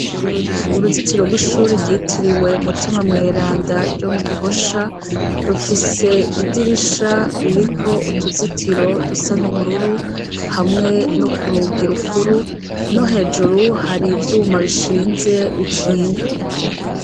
Uruzitiro rwishure rytiriwe mutima mweranda ryo mu Gihosha rufise idirisha ririko utuzitiro dusa n’ubururu hamwe no kurugi rukuru no hejuru hari ivyuma bishinze bikinga.